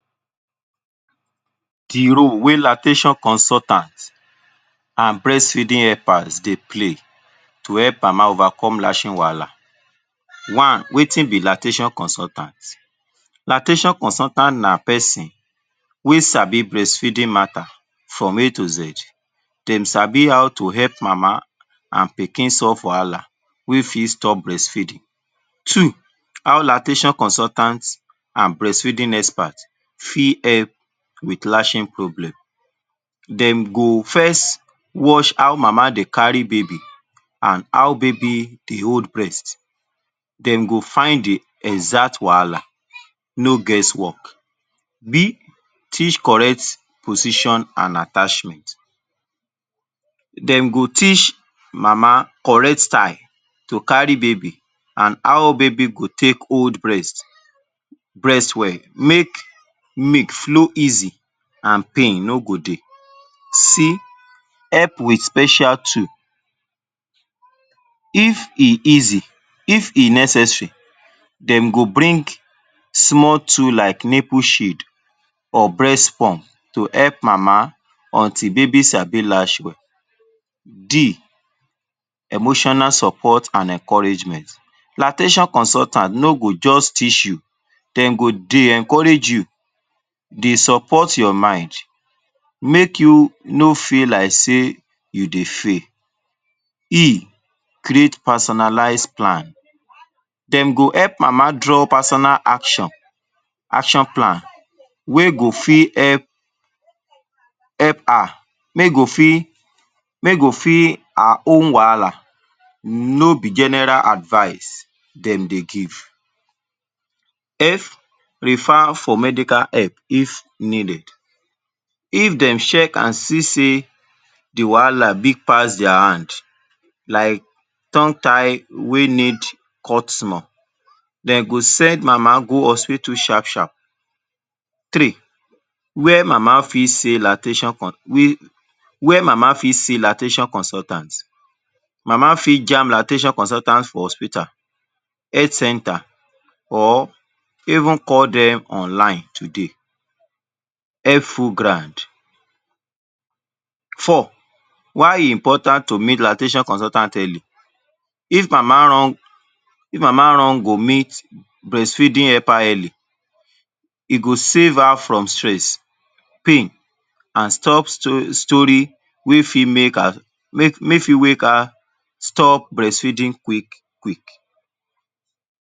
The role wey lactation consultant an breastfeeding helpers dey play to help mama overcome latching wahala. One, wetin be lactation consultant? Lactation consultant na peson wey sabi breastfeeding matter from a to z. Dem sabi how to help mama an pikin solve wahala wey fit stop breastfeeding. Two, how lactation consultant an breastfeeding expert fit help with latching problem. Dem go first watch how mama dey carry baby an how baby dey hold breast. Dem go find the exact wahala, no guess work. b. Teach correct position an attachment: Dem go teach mama correct style to carry baby an how baby go take hold breast breast well make milk flow easy an pain no go dey. c. Help with special tool: If e easy, if e necessary, dem go bring small tool like nipple shade or breast pump to help mama until baby sabi latch well. d. Emotional support an encouragement: Lactation consultant no go juz teach you, dem go dey encourage you, dey support your mind, make you no feel like sey you dey fail. e. Create personalise plan: Dem go help mama draw personal action, action plan wey go fit help help her make go fit make go fit her own wahala, no be general advice dem dey give. f. Refer for medical help if needed: If dem check an see sey the wahala big pass dia hand like tongue tie wey need cut small, de go send mama go hospital sharp-sharp. Three, where mama fit see lactation where mama fit see lactation consultant? Mama fit jam lactation consultant for hospital, health centre or even call dem online today. Help full ground. Four, why e important to meet lactation consultant early? If mama run if mama run go meet breastfeeding helper early, e go save her from stress, pain an stop story wey fit make her make fit wake her stop breastfeeding quick-quick.